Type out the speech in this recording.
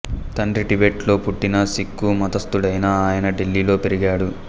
తండ్రి టిబెట్ లో పుట్టిన సిక్కు మతస్తుడైనా ఆయన ఢిల్లీలో పెరిగాడు